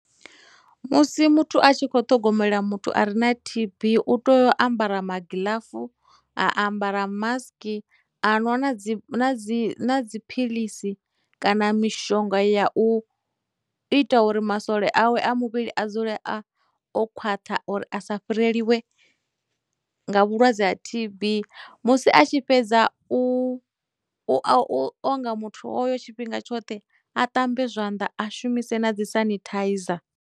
Musi muthu a tshi khou ṱhogomela muthu a re na T_B u tea u ambara magiḽafu, a ambara mask, a nwa na dzi na dzi na dziphilisi kana mishonga ya u ita uri masole awe a muvhili a dzule a o khwaṱha uri a sa fhireliwe nga vhulwadze ha T_B, musi a tshi fhedza u, u onga muthu hoyo tshifhinga tshoṱhe a ṱambe zwanḓa, a shumise na dzi sanitizer.